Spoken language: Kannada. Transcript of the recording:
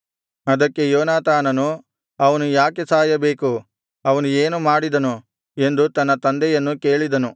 ಅದಕ್ಕೆ ಯೋನಾತಾನನು ಅವನು ಯಾಕೆ ಸಾಯಬೇಕು ಅವನು ಏನು ಮಾಡಿದನು ಎಂದು ತನ್ನ ತಂದೆಯನ್ನು ಕೇಳಿದನು